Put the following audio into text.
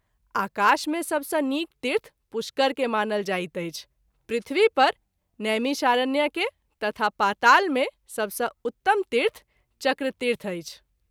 आकाश मे सब सँ नीक तीर्थ पुष्कर के मानल जाइत अछि , पृथ्वी पर नैमिषारण्य के तथा पाताल मे सब सँ उतम तीर्थ चक्रतीर्थ अछि।